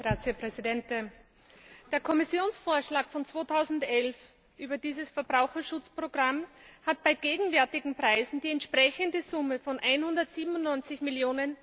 Herr Präsident! Der Kommissionsvorschlag von 2011 über dieses Verbraucherschutzprogramm hat bei gegenwärtigen Preisen die entsprechende Summe von 197 Mio.